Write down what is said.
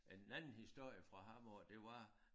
En anden historie fra ham af det var